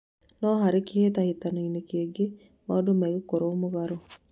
No harĩ kĩhĩtahĩtano-inĩ kĩngĩ maũndũ megũkorwo mũgarũ